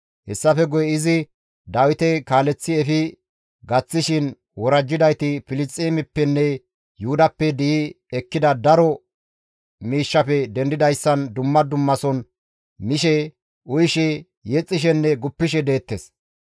Hessafe guye izi Dawite kaaleththi efi gaththishin worajjidayti Filisxeemeppenne Yuhudappe di7i ekkida daro miishshafe dendidayssan dumma dummason mishe, uyishe, yexxishenne guppishe deettes.